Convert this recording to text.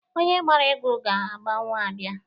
Onye gbara egwu ga-agbanwu abịa.